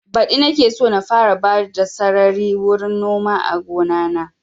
Badi nake so na fara bada sarari wurin noma a gona na